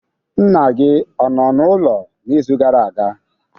Nna gị ọ nọ n'ụlọ n'izu gara aga?